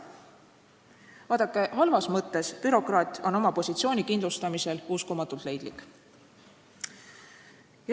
Vaadake, halvas mõttes bürokraat on oma positsiooni kindlustamisel uskumatult leidlik.